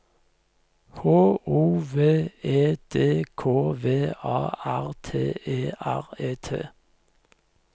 H O V E D K V A R T E R E T